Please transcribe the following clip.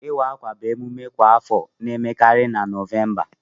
Iwe akwa bụ mmemme kwa afọ na emekarị na November.